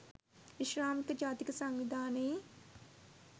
විශ්‍රාමික ජාතික සංවිධානයේ